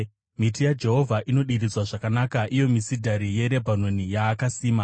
Miti yaJehovha inodiridzwa zvakanaka, iyo misidhari yeRebhanoni yaakasima.